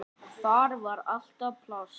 Þar var alltaf pláss.